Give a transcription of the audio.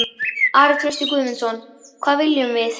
Ari Trausti Guðmundsson: Hvað viljum við?